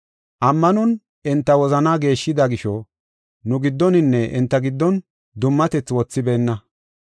Ammanon enta wozana geeshshida gisho nu giddoninne enta giddon dummatethi wothibeenna.